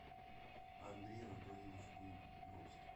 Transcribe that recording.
андрей анатольевич буйновский